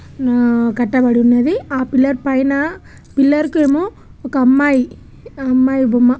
నా ఆ కట్టబడి ఉన్నది ఆ పిల్లర్ పైన పిల్లర్ కేమో ఒక అమ్మాయి ఆ అమ్మాయి బొమ్--